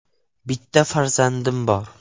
Bitta farzandim bor.